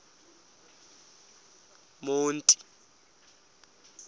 monti